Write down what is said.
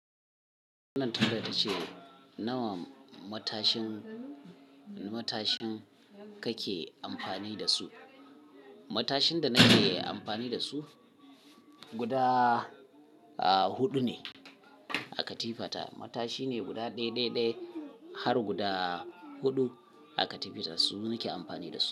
Wannan tangarfa ce, nawa matashin, matashin kake amfani da su? Matashin da nake amfani da su guda, aah hudu ne a katifata. Matashi ne guda ɗaiɗaiɗai har guda huɗu a katifata su nake amfani da su.